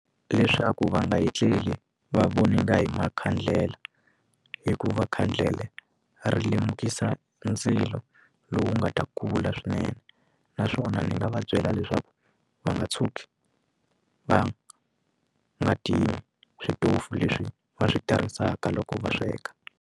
Leswaku va nga etleli va voninga hi makhandlela hikuva khandlele ri lemukisa ndzilo lowu nga ta kula swinene naswona ni nga va byela leswaku va nga tshuki va nga timi switofu leswi va swi tirhisaka loko va sweka.